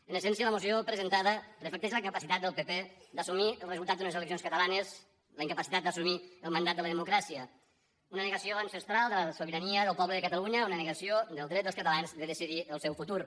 en essència la moció presentada reflecteix la incapacitat del pp d’assumir el resultat d’unes eleccions catalanes la incapacitat d’assumir el mandat de la democràcia una negació ancestral de la sobirania del poble de catalunya una negació del dret dels catalans a decidir el seu futur